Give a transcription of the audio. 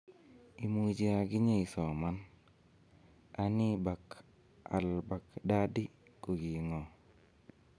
Imuch aginye isoman: Anii Bakr al-Baghdadi koging'o?